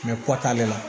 Mɛ kɔt'ale la